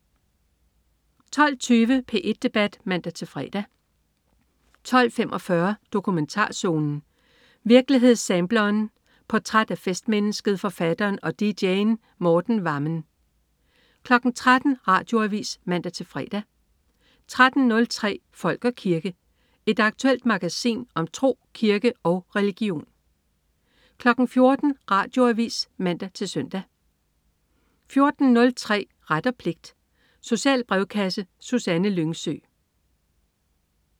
12.20 P1 debat (man-fre) 12.45 Dokumentarzonen. Virkelighedssampleren. Portræt af festmennesket, forfatteren og dj'en Morten Wammen 13.00 Radioavis (man-fre) 13.03 Folk og kirke. Et aktuelt magasin om tro, kirke og religion 14.00 Radioavis (man-søn) 14.03 Ret og pligt. Social brevkasse. Susanne Lyngsø